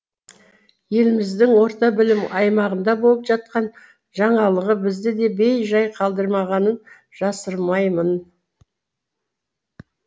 еліміздің орта білім аймағында болып жатқан жаңалығы бізді де бей жай қалдырмағанын жасырмаймын